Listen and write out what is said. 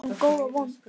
Við erum góð og vond.